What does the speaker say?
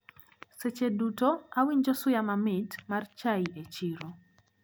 Seche duto awinjo suya mamit mar chai e chiro.